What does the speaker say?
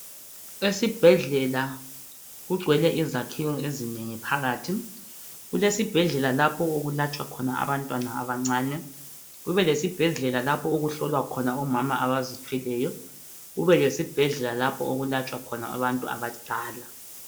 Esibhedlela kugcwele izakhiwo ezinengi phakathi. Kusesibhedlela lapho okulatshwa khona abantwana abancane, kube lesibhedlela lapho okuhlolwa khona omama abazithweleyo kunelesibhedlela lapho okulatshwa khona abantu abadala